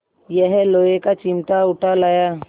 यह लोहे का चिमटा उठा लाया